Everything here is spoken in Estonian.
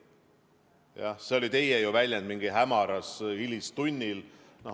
Jah, see oli teie väljend: mingil hämaral hilistunnil.